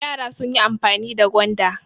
Yara sun yi amfani da gwanda.